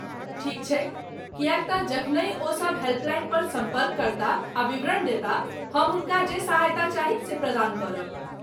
ठीक छैक किएक तँ जखनहि ओ सब हेल्पलाइन पर सम्पर्क करताह आ विवरण देताह, हम हुनका जे सहायता चाही से प्रदान करब।